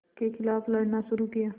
के ख़िलाफ़ लड़ना शुरू किया